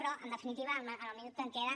però en definitiva amb el minut que em queda